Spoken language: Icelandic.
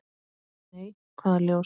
Nei, hvaða ljós?